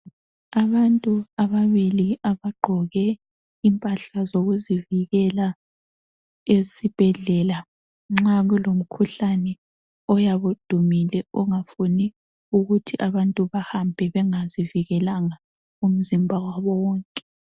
Abantu ababili abagqoke impahla zokuzivikela esibhedlela, nxa kulomkhuhlane oyabe udumile ongafuni ukuthi abantu bahambe bengazivikelanga umzimba wabo wonke.